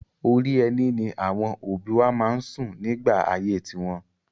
Orí ẹní ni àwọn òbí wa máa ń sùn nígbà ayé tiwọn.